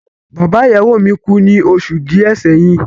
Bàbá ìyàwó mi kú ní oṣù díẹ̀ sẹ́yìn.